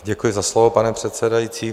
Děkuji za slovo, pane předsedající.